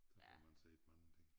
Der får man set mange ting